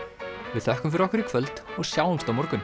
við þökkum fyrir okkur í kvöld og sjáumst á morgun